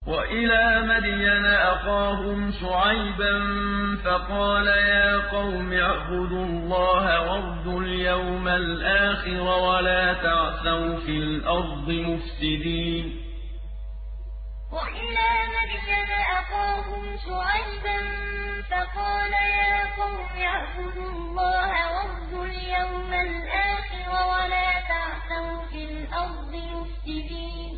وَإِلَىٰ مَدْيَنَ أَخَاهُمْ شُعَيْبًا فَقَالَ يَا قَوْمِ اعْبُدُوا اللَّهَ وَارْجُوا الْيَوْمَ الْآخِرَ وَلَا تَعْثَوْا فِي الْأَرْضِ مُفْسِدِينَ وَإِلَىٰ مَدْيَنَ أَخَاهُمْ شُعَيْبًا فَقَالَ يَا قَوْمِ اعْبُدُوا اللَّهَ وَارْجُوا الْيَوْمَ الْآخِرَ وَلَا تَعْثَوْا فِي الْأَرْضِ مُفْسِدِينَ